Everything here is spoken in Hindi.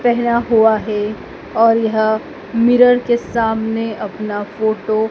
पहेना हुआ है और यह मिरर के सामने अपना फोटो --